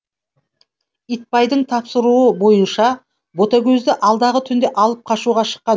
итбайдың тапсыруы бойынша ботагөзді алдағы түнде алып қашуға шыққан